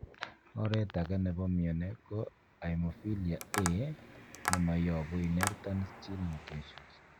Oret age nepo mioni ko hemophilia A nemoyopu inherited gene mutations.